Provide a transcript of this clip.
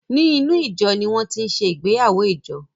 Ní inú ìjo ní wọn tin ṣe ìgbéyàwó ìjọ